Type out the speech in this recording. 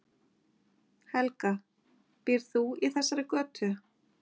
Helga: Býrð þú í þessari götu?